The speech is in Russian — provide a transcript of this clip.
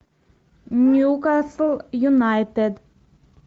ньюкасл юнайтед